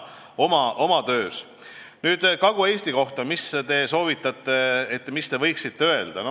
Nüüd, mis te võiksite Kagu-Eesti kohta öelda?